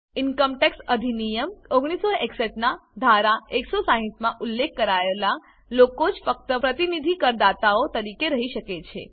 income tax અધિનિયમ 1961 નાં ધારા 160 માં ઉલ્લેખેલ કરાયેલા લોકો જ ફક્ત પ્રતિનિધિ કરદાતાઓ તરીકે રહી શકે છે